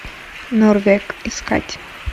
норвег искать